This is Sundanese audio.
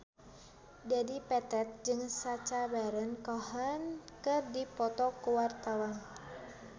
Dedi Petet jeung Sacha Baron Cohen keur dipoto ku wartawan